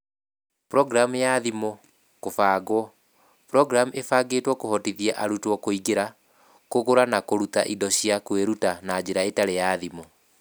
Programu ya thimũ (kũbangwo), Programu ĩbangĩtwo kũhotithia arutwo kũingĩra, kũgũra na kũruta indo cia kwĩruta na njĩra ĩtarĩ ya thimũ.